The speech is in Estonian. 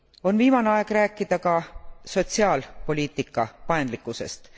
On viimane aeg rääkida ka sotsiaalpoliitika paindlikkusest.